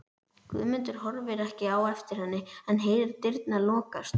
Guðmundur horfir ekki á eftir henni en heyrir dyrnar lokast.